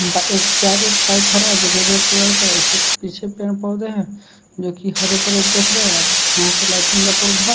इसके आगे एक बाइक खड़ा है जो की रेड कलर का है इसके पीछे पेड़ पौधे हैं जो की हरे दिख रहे हैं यह पे लाइटिंग का प्रभाव--